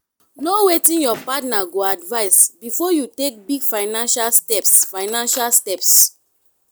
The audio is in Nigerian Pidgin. know wetin your partner go advice before you take big financial steps financial steps